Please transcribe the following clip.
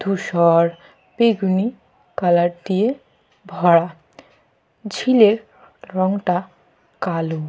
ধূসর বেগুনি কালার দিয়ে ভরা। ঝিলের রংটা কালো।